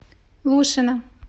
лушина